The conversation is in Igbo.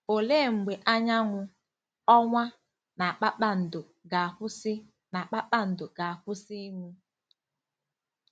Olee mgbe anyanwụ, ọnwa, na kpakpando ga-akwụsị na kpakpando ga-akwụsị ịnwu?